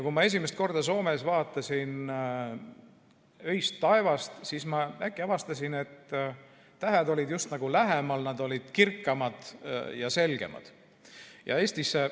Kui ma esimest korda Soomes vaatasin öist taevast, siis ma äkki avastasin, et tähed olid just nagu lähemal, nad olid kirkamad ja selgemad.